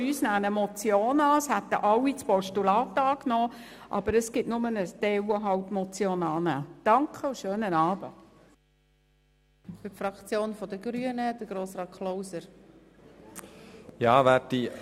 Ein Teil unserer Fraktion würde den Vorstoss als Motion annehmen, alle stimmen ihm als Postulat zu.